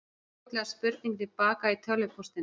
Það kom fljótlega spurning til baka í tölvupóstinum.